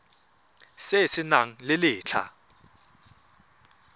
se se nang le letlha